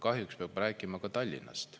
Kahjuks peab rääkima ka Tallinnast.